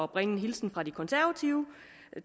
bringe en hilsen fra de konservative